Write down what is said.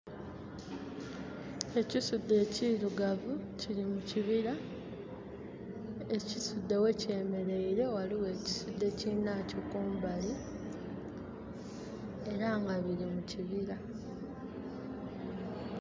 Ekisudde ekirugavu kiri mu kibira. Ekisudde we kyemereire waliwo kisudde kinakyo kumbali era nga biri mu kibira